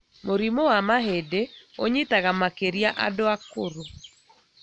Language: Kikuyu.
Mũrimũ wa mahĩndĩ ũnyitaga makĩria andũ akũrũ